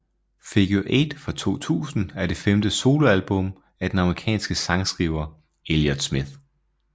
Figure 8 fra 2000 er det femte soloalbum af den amerikanske sangskriver Elliott Smith